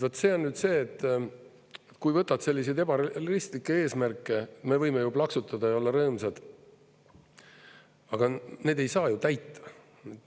Vot see on nüüd see, et kui võtad selliseid ebarealistlikke eesmärke, me võime ju plaksutada ja olla rõõmsad, aga neid ei saa ju täita.